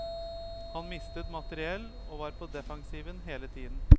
Han mistet materiell og var på defensiven hele tiden.